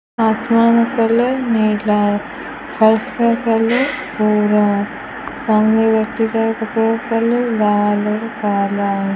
आसमान का कलर नीला है फर्श का कलर भूरा है सामने व्यक्ति का कपड़े का कलर लाल और काला है।